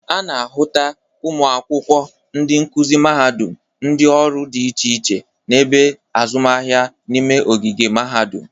A na-ahụta ụmụ akwụkwọ, ndị nkuzi mahadụm, ndị ọrụ dị iche iche na ebe azụmahịa n'ime ogige mahadụm.